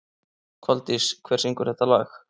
Koldís, hver syngur þetta lag?